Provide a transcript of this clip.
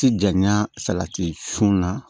Ti janya salati sun na